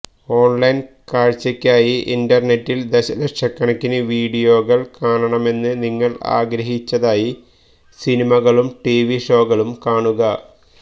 online കാഴ്ചയ്ക്കായി ഇന്റർനെറ്റിൽ ദശലക്ഷക്കണക്കിന് വീഡിയോകൾ കാണണമെന്ന് നിങ്ങൾ ആഗ്രഹിച്ചതായി സിനിമകളും ടിവി ഷോകളും കാണുക